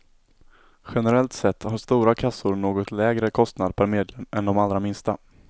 Generellt sett har stora kassor något lägre kostnad per medlem än de allra minsta.